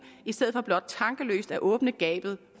i stedet for blot tankeløst at åbne gabet